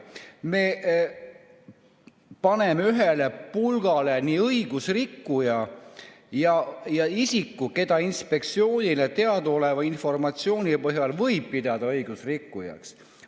Me paneme ühele pulgale nii õigusrikkuja kui ka isiku, keda inspektsioonile teadaoleva informatsiooni põhjal võib pidada õigusrikkujaks.